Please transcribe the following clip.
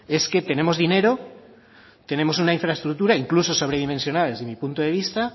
es que tenemos dinero tenemos una infraestructura incluso sobre dimensionada desde mi punto de vista